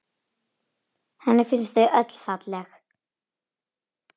Henni finnst þau öll falleg.